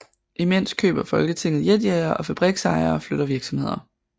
Imens køber Folketinget jetjagere og fabriksejere flytter virksomheder